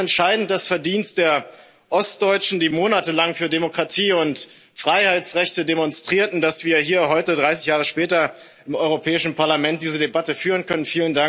Es ist entscheidend das Verdienst der Ostdeutschen, die monatelang für Demokratie und Freiheitsrechte demonstrierten, dass wir hier heute 30 Jahre später im Europäischen Parlament diese Debatte führen können.